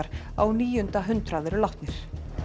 á níunda hundrað eru látnir